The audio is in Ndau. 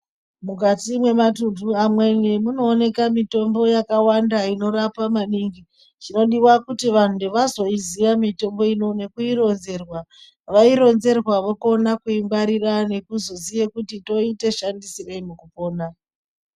Mukati mwematuntu amweni, munooneka mitombo yakawanda inorapa maningi. Chinodiwa kuti vantu vazoiziya mitombo ino nekuironzerwa. Vaironzerwa vokona kungwarira nekuzoziye kuti toite shandisirei mukupona.